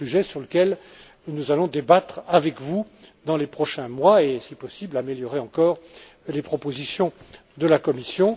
C'est un sujet sur lequel nous allons débattre avec vous dans les prochains mois pour, si possible, améliorer encore les propositions de la Commission.